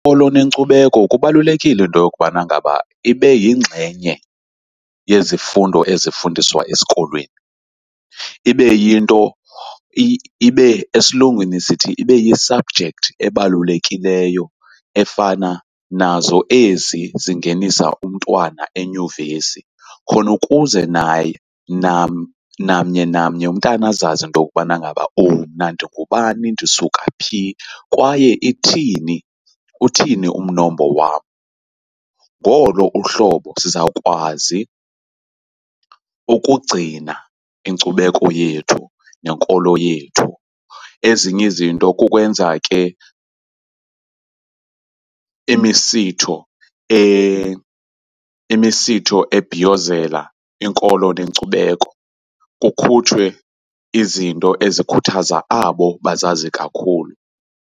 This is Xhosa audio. nenkcubeko kubalulekile into yokubana ngaba ibe yingxenye yezifundo ezifundiswa esikolweni. Ibe yinto ibe esilungwini sithi ibe yi-subject ebalulekileyo efana nazo ezi zingenisa umntwana enyuvesi. Khona ukuze namnye namnye umntana azazi into yokubana ngaba mna ndingubani, ndisuka phi kwaye ithini uthini umnombo wam. Ngolo uhlobo sizawukwazi ukugcina inkcubeko yethu nenkolo yethu. Ezinye izinto kukwenza ke imisitho imisitho ebhiyozela inkolo nenkcubeko, kukhutshwe izinto ezikhuthaza abo bazazi kakhulu.